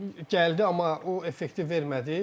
gəldi, amma o effekti vermədi.